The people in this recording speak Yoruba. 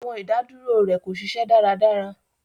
Awọn idaduro rẹ ko ṣiṣẹ daradara